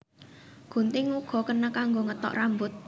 Gunting uga kena kanggo ngethok rambut